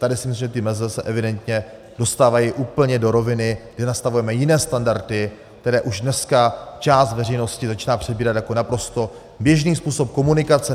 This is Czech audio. Tady si myslím, že ty meze se evidentně dostávají úplně do roviny, kdy nastavujeme jiné standardy, které už dneska část veřejnosti začíná přebírat jako naprosto běžný způsob komunikace.